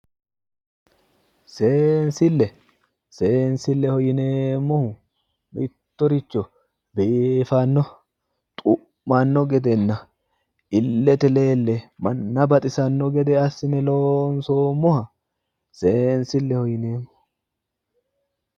Seensile, seensile yinneemmohu mittoricho biifano xu'mano gedenna ilete leele manna baxisano gede assine loonsoommoha seensileho yinneemmo